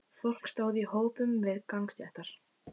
Fólk stóð í hópum við gangstéttar.